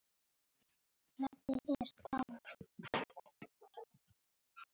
Freddi er dáinn.